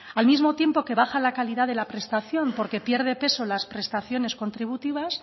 al mismo tiempo que baja la calidad de la prestación porque pierde peso las prestaciones contributivas